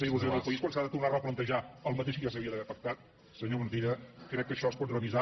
i il·lusió al país quan s’ha de tornar a replantejar el mateix que ja s’havia d’haver pactat senyor montilla crec que això es pot revisar